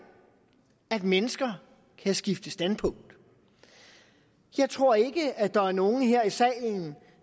at mennesker kan skifte standpunkt jeg tror ikke at der er nogen her i salen